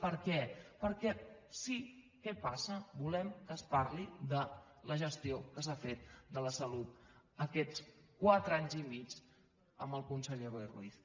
per què perquè sí què passa volem que es parli de la gestió que s’ha fet de la salut aquests quatre anys i mig amb el conseller boi ruiz